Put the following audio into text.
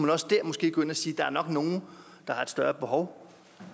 måske også der gå ind og sige der er nok nogle der har et større behov